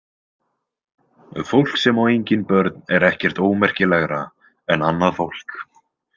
Fólk sem á engin börn er ekkert ómerkilegra en annað fólk.